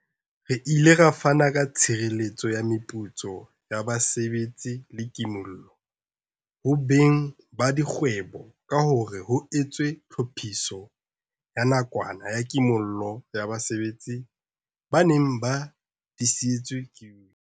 Re ile ra fana ka tshireletso ya meputso ya basebetsi le ki mollo ho beng ba dikgwebo ka hore ho etswe Tlhophiso ya Nakwana ya Kimollo ya Basebetsi e neng e disitswe ke UIF.